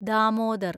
Damodar